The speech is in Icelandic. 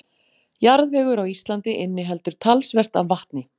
Jarðvegur á Íslandi inniheldur talsvert af vatni.